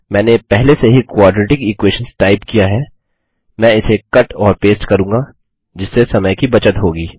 मैंने पहले से ही क्वाड्रेटिक इक्वेशंस टाइप किया है मैं इसे कट और पेस्ट करूँगा जिससे समय की बचत होगी